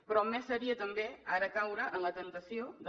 però més ho seria també ara caure en la temptació de